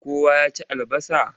Kowa ya ci albasa?